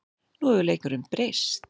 Nú hefur leikurinn breyst